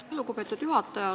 Aitäh, lugupeetud juhataja!